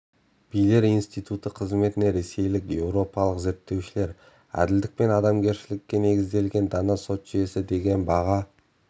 билер институты қызметіне ресейлік еуропалық зерттеушілер әділдік пен адамгершілікке негізделген дана сот жүйесі деген баға